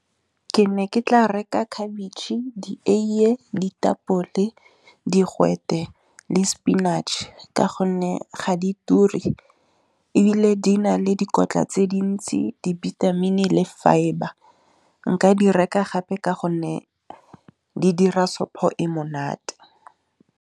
Ke ne ke tla reka khabetšhe, dieiye, ditapole digwete le spinach ka gonne ga di turi. Ebile di na le dikotla tse dintsi, dibithamini le fibre, nka di reka gape ka gonne di dira sopo e monate.